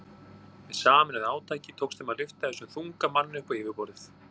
Með sameinuðu átaki tókst þeim að lyfta þessum þunga manni upp á yfirborðið.